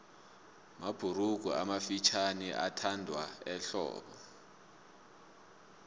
mabhurugu amafutjhaniathandwa ehlobo